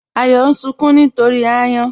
Àyọ̀ n sunkùn nítorí ayàn.